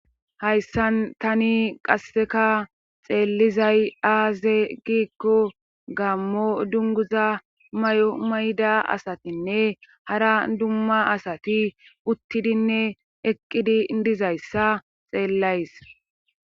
hayssan tani qasseka xeellizay aaze giikko gaammo dunguza may7o mayda asatinne hara dumma asati uttidinne eqqidi dizayssa xeellays